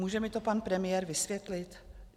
Může mi to pan premiér vysvětlit?